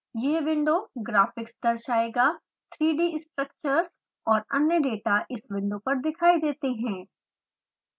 यह window graphics दर्शायेगा 3d structures और अन्य डाटा इस विंडो पर दिखाई देते हैं